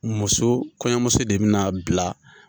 Muso kɔɲɔmuso de bɛna bila.